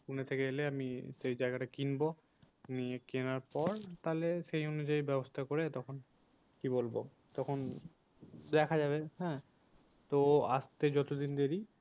পুনে থেকে এলে আমি সেই জায়গাটা কিনবো। নিয়ে কেনার পর তাহলে সেই অনুযায়ী ব্যবস্থা করে তখন কি বলবো তখন দেখা যাবে হ্যাঁ তো আসতে যতদিন দেরি